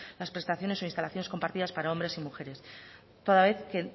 las prestaciones o instalaciones compartidas para hombres y mujeres toda vez que